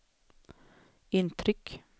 intryck